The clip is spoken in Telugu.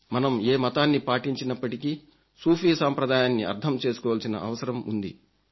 మనం ఏ మతాన్ని పాటించినప్పటికీ సూఫీ సాంప్రదాయాన్ని అర్థం చేసుకోవలసిన అవసరం ఉంది